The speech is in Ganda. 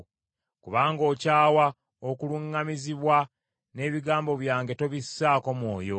Kubanga okyawa okuluŋŋamizibwa, n’ebigambo byange tobissaako mwoyo.